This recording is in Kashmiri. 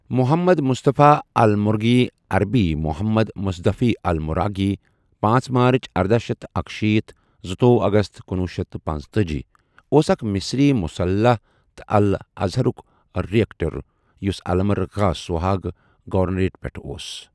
محمد مصطفی ال مرغی عربی محمد مصدفى المراغی پانژھ مارٕچ ارداہ شیٚتھ تہٕ اکشیٖتھ زُتووُہ اَگَست کنوُہ شیٚتھ تہٕ پنژتأجی اوس اَکھ مصری مصلح تہٕ الازہرک ریکٹر یُس الا مرغاح سوہاگ گورنریٹ پؠٹھ اوس۔